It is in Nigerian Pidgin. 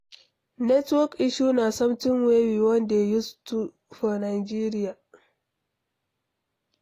Network issue na something wey we don dey used to for Nigeria